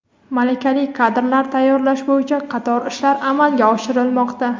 malakali kadrlar tayyorlash bo‘yicha qator ishlar amalga oshirilmoqda.